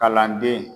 Kalanden